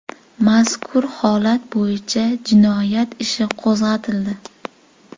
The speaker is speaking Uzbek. Mazkur holat bo‘yicha jinoyat ishi qo‘zg‘atildi.